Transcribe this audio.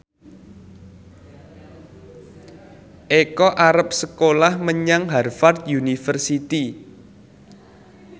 Eko arep sekolah menyang Harvard university